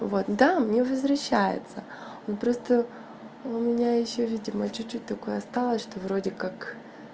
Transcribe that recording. вот да мне возвращается но просто у меня ещё видимо чуть-чуть такое осталось что вроде как